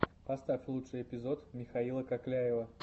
поставь лучший эпизод михаила кокляева